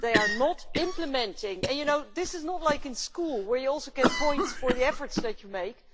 They are not implementing. This is not like in school, where you also get points for the efforts that you make.